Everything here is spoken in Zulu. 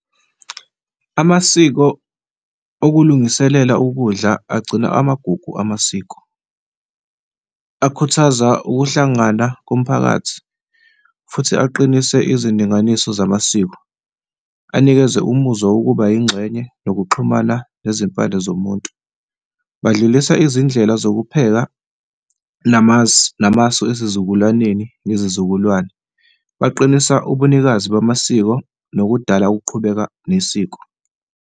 Amasiko okulungiselela ukudla agcina amagugu amasiko, akhuthaza ukuhlangana komphakathi futhi aqinise izindinganiso zamasiko, anikeze umuzwa wokuba yingxenye nokuxhumana nezimpande zomuntu. Badlulisa izindlela zokupheka namasu esizukulwaneni ngezizukulwane, baqinise ubunikazi bamasiko nokudala ukuqhubeka nesiko.